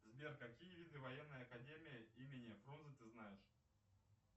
сбер какие виды военной академии имени фрунзе ты знаешь